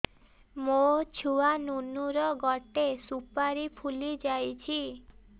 ମୋ ଛୁଆ ନୁନୁ ର ଗଟେ ସୁପାରୀ ଫୁଲି ଯାଇଛି